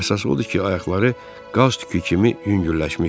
Əsas odur ki, ayaqları qaz tükü kimi yüngülləşmişdi.